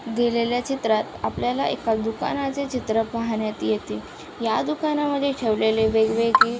दिलेल्या चित्रात आपल्याला एका दुकानाचे चित्र पाहण्यात येते या दुकानामध्ये ठेवलेले वेगवेगळे--